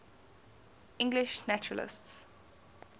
english naturalists